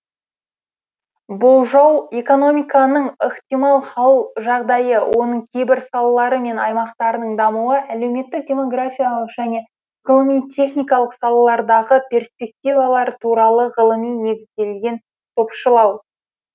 болжау экономиканың ықтимал хал жағдайы оның кейбір салалары мен аймақтарының дамуы әлеуметтік демографиялық және ғылыми техникалық салалардағы перспективалар туралы ғылыми негізделген топшылау